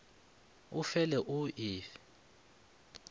o fe le o fe